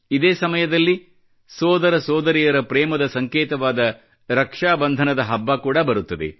ಇದೇ ಸಮಯದಲ್ಲಿ ಸೋದರಸೋದರಿಯರ ಪ್ರೇಮದ ಸಂಕೇತವಾದ ರಕ್ಷಾಬಂಧನದ ಹಬ್ಬ ಕೂಡ ಬರುತ್ತದೆ